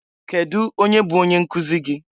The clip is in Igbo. Kedụ onye bụ onye nkụzị gị?